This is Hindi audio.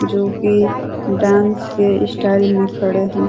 जोकि डांस के स्टाइल में खड़े हैं।